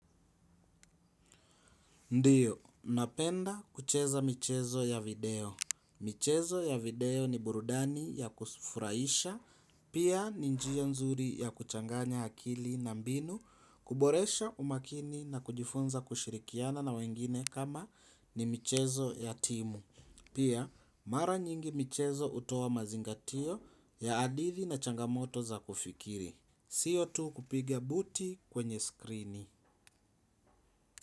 Ndiyo, napenda kucheza michezo ya video. Michezo ya video ni burudani ya kufurahisha, pia ni njia nzuri ya kuchanganya akili na mbinu, kuboresha umakini na kujifunza kushirikiana na wengine kama ni michezo ya timu. Pia, mara nyingi michezo hutoa mazingatio ya hadithi na changamoto za kufikiri. Sio tu kupiga buti kwenye skrini.